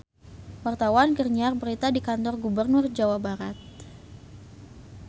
Wartawan keur nyiar berita di Kantor Gubernur Jawa Barat